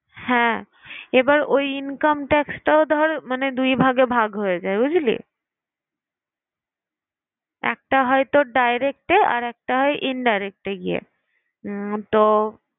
হ্যাঁ এবার ওই income tax টাও ধর মানে দু'ভাগে ভাগ হয়ে যায় বুঝলি? একটা হয় তোর direct এ আরেকটা হয় indirect এ গিয়ে। উহ তো